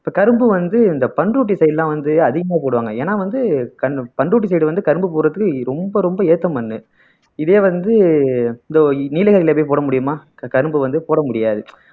இப்போ கரும்பு வந்து இந்த பண்ருட்டி side லாம் வந்து அதிகமா போடுவாங்க ஏன்னா வந்து பண்ருட்டி side வந்து கரும்பு போடறதுக்கு ரொம்ப ரொம்ப ஏத்த மண்ணு இதே வந்து இதோ நீலகிரியிலே போய் போட முடியுமா கரும்பு வந்து போட முடியாது